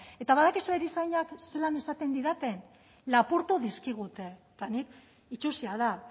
eta badakizue erizainak zelan esaten didate lapurtu dizkigute eta nik itsusia da